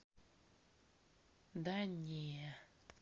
да не